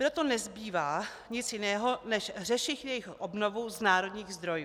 Proto nezbývá nic jiného než řešit jejich obnovu z národních zdrojů.